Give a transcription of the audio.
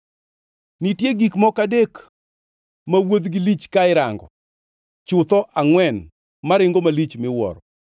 “Nitie gik moko adek ma wuodhgi lich ka irango, chutho angʼwen maringo malich miwuoro.